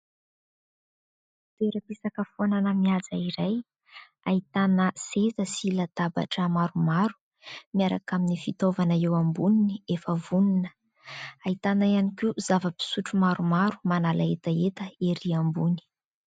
Toeram-pisakafoana mihaja iray. Ahitana seza sy latabatra maromaro, miaraka amin'ny fitaovana eo amboniny efa vonona. Ahitana ihany koa zava-pisotro maromaro manala hetaheta erỳ ambony.